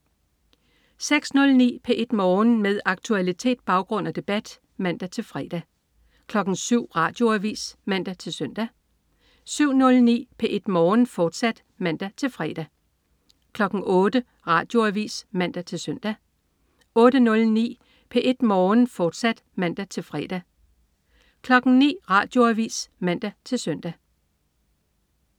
06.09 P1 Morgen. Med aktualitet, baggrund og debat (man-fre) 07.00 Radioavis (man-søn) 07.09 P1 Morgen, fortsat (man-fre) 08.00 Radioavis (man-søn) 08.09 P1 Morgen, fortsat (man-fre) 09.00 Radioavis (man-søn)